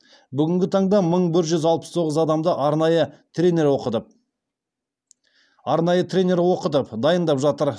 бүгінгі таңда мың бір жүз алпыс тоғыз адамды арнайы тренер оқытып дайындап жатыр